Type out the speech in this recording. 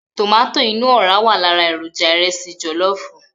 Tomato inú ọ̀ra wà lára èròjà ìrẹsì jọ̀lọ́fù.